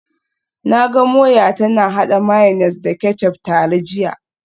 Na ga Moyo tana hada mayonnaise da ketchup tare jiya